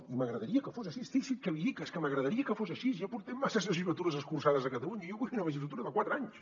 i m’agradaria que fos així fixi’s què li dic és que m’agradaria que fos així ja portem masses legislatures escurçades a catalunya jo vull una legislatura de quatre anys